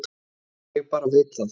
Ég bara veit það.